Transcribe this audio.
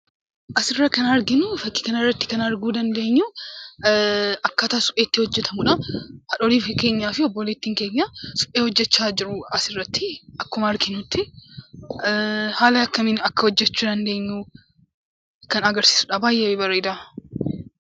Asirraa kan arginu akkaataa supheen itti hojjatamudha. Haati keenyaa fi obboleettiin keenya suphee hojjachaa jiru asirratti akkuma arginutti. Haala kamiin akka hojjachuu dandeenyu kan agarsiisudha; baay'ee bareeda.